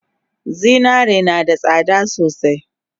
Zinare nada tsada sosai